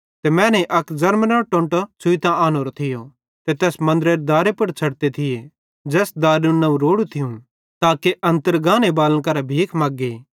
ते मैनेईं अक ज़र्मनेरो टोंटो छ़ुइतां आनोरोए थियो ते तैस मन्दरेरे दारे पुड़ छ़डते थिये ज़ैस दारेरु नवं रोड़ू थियूं ताके अन्तर गाने बालन करां भीख मग्गे